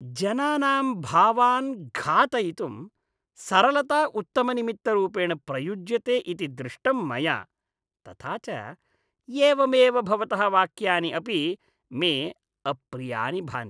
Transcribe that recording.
जनानां भावान् घातयितुं सरलता उत्तमनिमित्तरूपेण प्रयुज्यते इति दृष्टं मया, तथा च एवमेव भवतः वाक्यानि अपि मे अप्रियानि भान्ति।